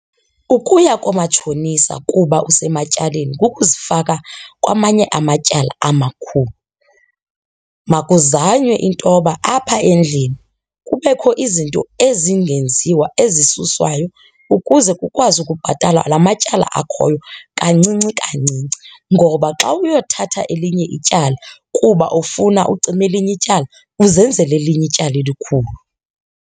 Ukuya koomatshonisa kuba usematyaleni kukuzifaka kwamanye amatyala amakhulu. Makuzanywe intoba apha endlini kubekho izinto ezingenziwa ezisuswayo ukuze kukwazi ukubhatalwa la matyala akhoyo kancinci kancinci ngoba xa uyothatha elinye ityala kuba ufuna ucima elinye ityala, uzenzele elinye ityala elikhulu.